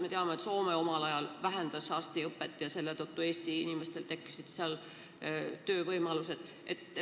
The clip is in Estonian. Me teame, et Soome omal ajal vähendas arstiõpet ja selletõttu tekkisid Eesti inimestel võimalused seal tööd saada.